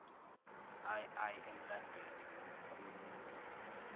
ii emlandweni wokulungisa